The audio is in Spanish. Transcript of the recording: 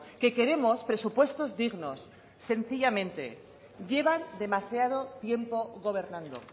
que queremos presupuestos dignos sencillamente llevan demasiado tiempo gobernando